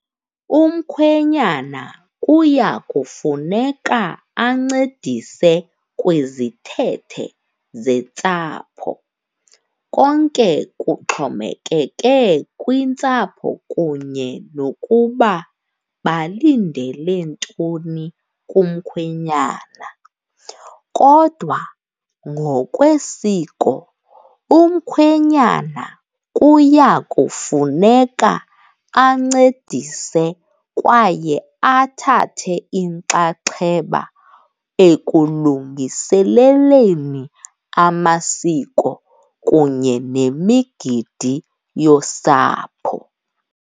Umkhwenyana kuya kufuneka ancedise kwizithethe zentsapho, konke kuxhomekeke kwintsapho kunye nokuba balindele ntoni kumkhwenyana. Kodwa ngokwesiko, umkhwenyana kuya kufuneka ancedise kwaye athathe inxaxheba ekulungiseleleni amasiko kunye nemigidi yosapho.